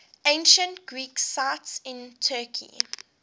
ancient greek sites in turkey